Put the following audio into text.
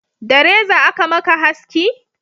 da reza a ka maka haski?